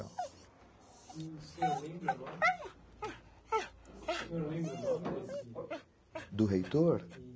O senhor lembra o? O senhor lembra o nome? do reitor?